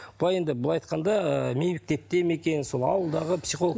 былай енді былай айтқанда ыыы ме екен сол ауылдағы психолог